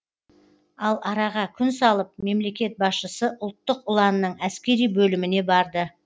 ал араға күн салып мемлекет басшысы ұлттық ұланның әскери бөліміне барды